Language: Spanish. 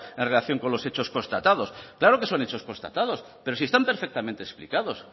en relación con los hechos constatados claro que son hechos constatados pero si están perfectamente explicados